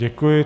Děkuji.